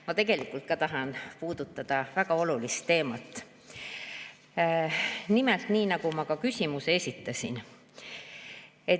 Ma tegelikult tahan puudutada üht väga olulist teemat, mille kohta ma ka küsimuse esitasin.